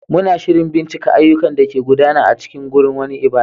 Muna shirin bincika ayyukan da ke gudana a cikin wani wurin ibada.